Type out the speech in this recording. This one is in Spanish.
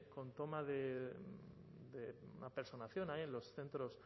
con toma de una personación ahí en los centros